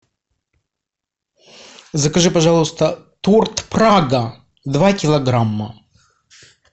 закажи пожалуйста торт прага два килограмма